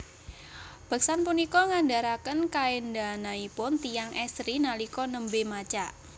Beksan punika ngandharaken kaendhanaipun tiyang estri nalika nembe macak